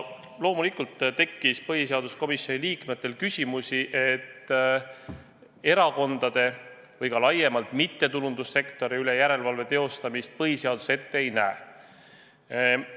Loomulikult tekkis põhiseaduskomisjoni liikmetel küsimusi, sest erakondade või ka laiemalt mittetulundussektori üle järelevalve teostamist põhiseadus Riigikontrollile ette ei näe.